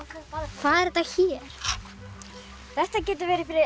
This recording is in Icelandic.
hvað er þetta hér þetta getur verið fyrir